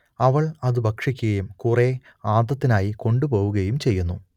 അവൾ അതു ഭക്ഷിക്കുകയും കുറേ ആദത്തിനായി കൊണ്ടുപോവുകയും ചെയ്യുന്നു